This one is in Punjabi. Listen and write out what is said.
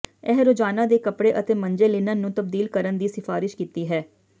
ਇਹ ਰੋਜ਼ਾਨਾ ਦੇ ਕੱਪੜੇ ਅਤੇ ਮੰਜੇ ਲਿਨਨ ਨੂੰ ਤਬਦੀਲ ਕਰਨ ਦੀ ਸਿਫਾਰਸ਼ ਕੀਤੀ ਹੈ